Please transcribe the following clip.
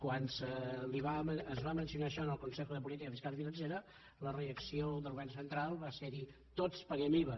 quan es va mencionar això en el consejo de política fiscal y financiera la reacció del govern central va ser dir tots paguem iva